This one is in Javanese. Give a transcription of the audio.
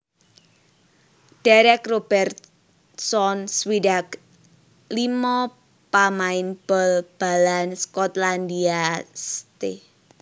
Derek Robertson swidak limo pamain bal balan Skotlandia St